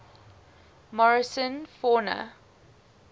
morrison fauna